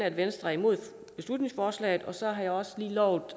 at venstre er imod beslutningsforslaget og så har jeg også lige lovet